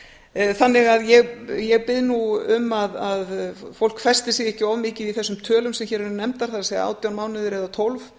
grunnskólanum þannig að ég bið nú um að fólk festi sig nú ekki of mikið í þessum tölum sem hér eru nefndar það er átján mánuðir eða tólf